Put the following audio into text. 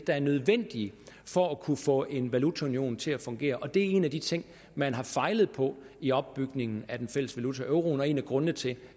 er nødvendige for at kunne få en valutaunion til at fungere og det er en af de ting man har fejlet på i opbygningen af den fælles valuta euroen og en af grundene til